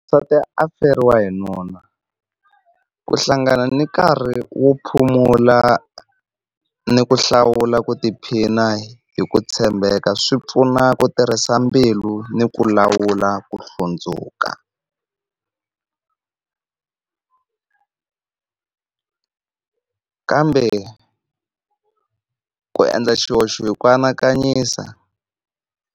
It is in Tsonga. N'wansati a feriwe hi nuna ku hlangana ni nkarhi wo phomola ni ku hlawula ku tiphina hi ku tshembeka, swi pfuna ku tirhisa mbilu ni ku lawula ku hlundzuka kambe ku endla xihoxo hi ku anakanyisa